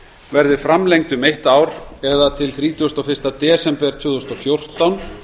verði framlengd um eitt ár eða til þrítugasta og fyrsta en tvö þúsund og fjórtán